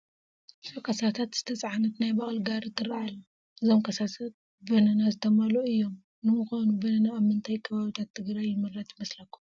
ብዙሕ ካሳታት ዝተፀዓነት ናይ በቕሊ ጋሪ ትርአ ኣላ፡፡ እዞም ካሳታት በነና ዝተመልኡ እዮም፡፡ ንምዃኑ በነና ኣብ ምንታይ ከባብታት ትግራይ ይምረት ይመስለኹም?